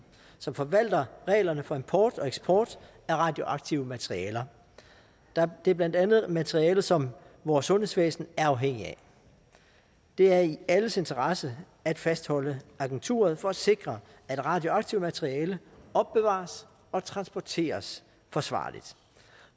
som forvalter reglerne for import og eksport af radioaktive materialer det er blandt andet materialer som vores sundhedsvæsen er afhængig af det er i alles interesse at fastholde agenturet for at sikre at radioaktivt materiale opbevares og transporteres forsvarligt